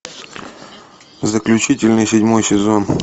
заключительный седьмой сезон